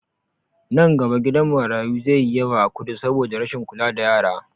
Nan gaba gidan marayu zai yi yawa a kudu saboda rashin kula da yara